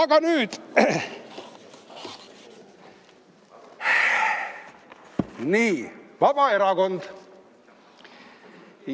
Aga nüüd, Vabaerakond.